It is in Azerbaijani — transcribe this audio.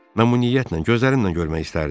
"Mən bu niyyətlə gözlərimlə görmək istərdim."